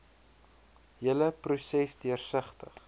hele proses deursigtig